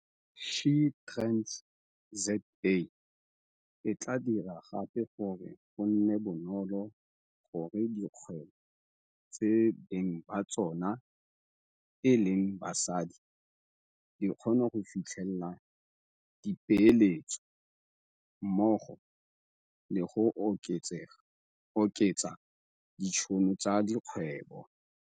SheTradesZA e tla dira gape gore go nne bonolo gore dikgwebo tse beng ba tsona e leng basadi di kgone go fitlhelela dipeeletso mmogo le go oketsa ditšhono tsa dikgwebo.